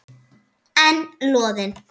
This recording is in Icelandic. En Loðinn?